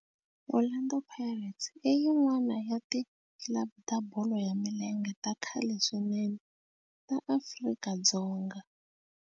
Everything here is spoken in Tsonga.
Orlando Pirates i yin'wana ya ti club ta bolo ya milenge ta khale swinene ta Afrika-Dzonga.